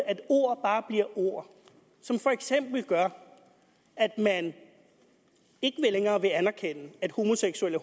at ord bare bliver ord som for eksempel gør at man ikke længere vil anerkende at homoseksuelle